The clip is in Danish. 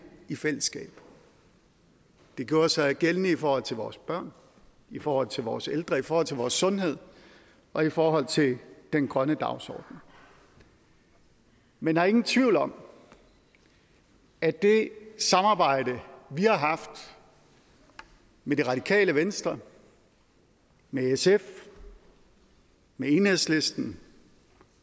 i fællesskab det gjorde sig gældende i forhold til vores børn i forhold til vores ældre i forhold til vores sundhed og i forhold til den grønne dagsorden men der er ingen tvivl om at det samarbejde vi har haft med det radikale venstre med sf med enhedslisten